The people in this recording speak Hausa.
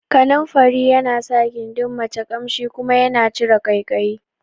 Kananfari yana sa gindin mace Ƙamshi kuma yana cire ƙaikayi